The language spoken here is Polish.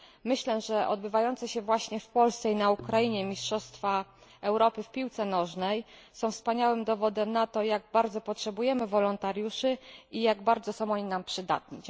Myślę, że odbywające się właśnie w Polsce i na Ukrainie Mistrzostwa Europy w piłce nożnej są wspaniałym dowodem na to, jak bardzo potrzebujemy wolontariuszy i jak bardzo są nam oni przydatni.